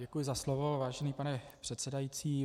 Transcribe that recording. Děkuji za slovo, vážený pane předsedající.